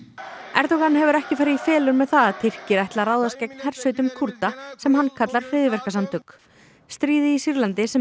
Erdogan hefur ekki farið í felur með það að Tyrkir ætli að ráðast gegn hersveitum Kúrda sem hann kallar hryðjuverkasamtök stríðið í Sýrlandi sem